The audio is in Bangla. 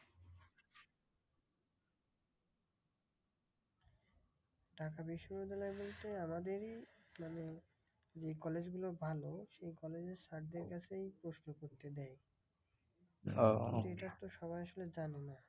ঢাকা বিশ্ববিদ্যালয় বলতে আমাদেরই মানে যে collage গুলো ভালো সেই collage এর sergeant এসেই প্রশ্নপত্র দেয়। এইটার তো সবাই আসলে জানে না।